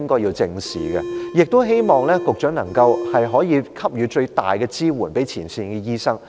同時，我亦希望局長能夠給予前線醫生最大的支援。